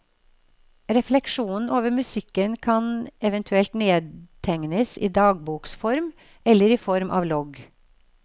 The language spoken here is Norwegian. Refleksjonen over musikken kan eventuelt nedtegnes i dagboksform, eller i form av logg.